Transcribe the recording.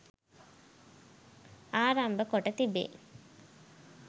ආරම්භ කොට තිබේ.